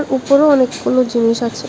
উপরে অনেকগুলো জিনিস আছে।